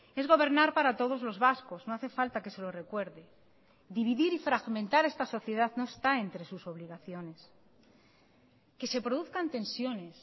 es gobernar para todos los vascos no hace falta que se lo recuerde dividir y fragmentar esta sociedad no está entre sus obligaciones que se produzcan tensiones